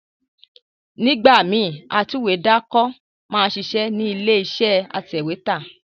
Nígbà míì, atúwèédàkọ máa ń ṣiṣẹ́ nílé iṣẹ́ atẹ̀wẹ́tà